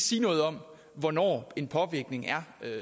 sige noget om hvornår en påvirkning er